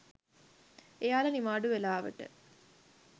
එයාල නිවාඩු වෙලාවට